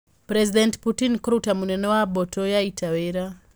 President Putin kũruta mũnene wa mbũtũ ya ita wĩra